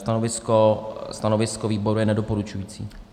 Stanovisko výboru je nedoporučující.